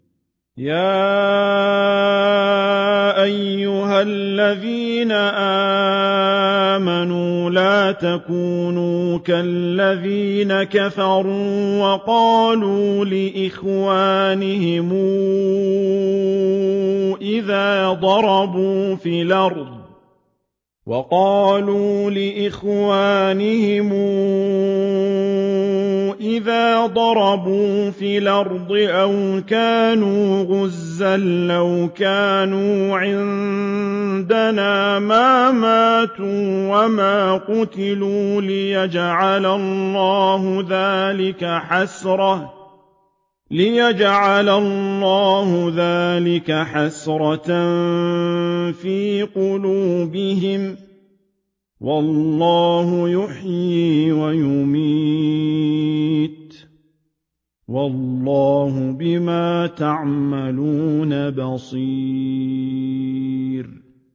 يَا أَيُّهَا الَّذِينَ آمَنُوا لَا تَكُونُوا كَالَّذِينَ كَفَرُوا وَقَالُوا لِإِخْوَانِهِمْ إِذَا ضَرَبُوا فِي الْأَرْضِ أَوْ كَانُوا غُزًّى لَّوْ كَانُوا عِندَنَا مَا مَاتُوا وَمَا قُتِلُوا لِيَجْعَلَ اللَّهُ ذَٰلِكَ حَسْرَةً فِي قُلُوبِهِمْ ۗ وَاللَّهُ يُحْيِي وَيُمِيتُ ۗ وَاللَّهُ بِمَا تَعْمَلُونَ بَصِيرٌ